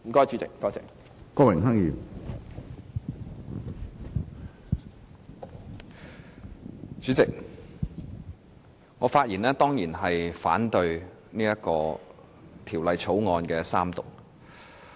主席，我發言當然是反對《廣深港高鐵條例草案》三讀。